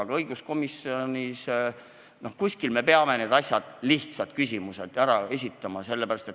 Aga õiguskomisjonis – noh, kuskil me peame ka need lihtsad küsimused ära esitama.